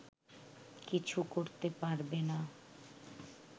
কিছু করতে পারবে না